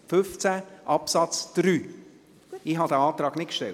Artikel 15 Absatz 3: Ich habe diesen Antrag nicht gestellt.